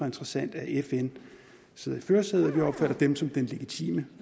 interessant at fn sidder i førersædet vi opfatter dem som den legitime